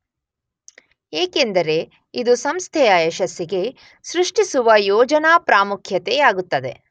ಏಕೆಂದರೆ ಇದು ಸಂಸ್ಥೆಯ ಯಶಸ್ಸಿಗೆ ಸೃಷ್ಟಿಸುವ ಯೋಜನಾ ಪ್ರಾಮುಖ್ಯತೆಯಾಗುತ್ತದೆ.